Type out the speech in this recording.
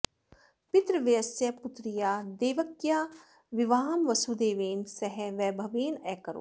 पितृव्यस्य पुत्र्याः देवक्याः विवाहं वसुदेवेन सह वैभवेन अकरोत्